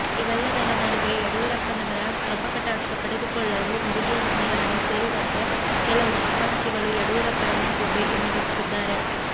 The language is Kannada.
ಇವೆಲ್ಲದರ ನಡುವೆ ಯಡಿಯೂರಪ್ಪನವರ ಕೃಪಾಕಟಾಕ್ಷ ಪಡೆದುಕೊಳ್ಳಲು ಮುರುಗೇಶ್ ನಿರಾಣಿ ಸೇರಿದಂತೆ ಕೆಲವು ಆಕಾಂಕ್ಷಿಗಳು ಯಡಿಯೂರಪ್ಪರ ಮನೆಗೆ ಭೇಟಿ ನೀಡುತ್ತಿದ್ದಾರೆ